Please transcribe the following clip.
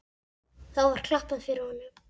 Þá var klappað fyrir honum.